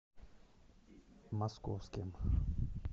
московским